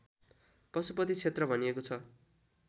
पशुपति क्षेत्र भनिएको छ